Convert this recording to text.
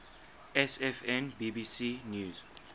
sfn bbc news